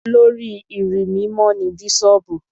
Olórí ìrí mímọ́ ni Bíṣọ̀bù.